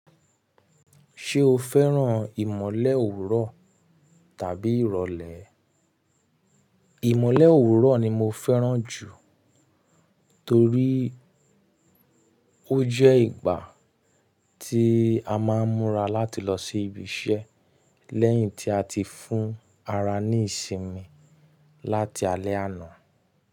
Ṣé o fẹ́ràn ìmọ̀lẹ̀ òwúrọ̀ tàbí ìrọ̀lẹ́? Ìmọ̀lẹ̀ òwúrọ̀ ni mo fẹ́ràn jù torí ó jẹ́ ìgbà tí a máa ń múra láti lọ sí ibi iṣẹ́ lẹ́yìn tí a ti fún ara ní ìsinmi láti alẹ́ àná.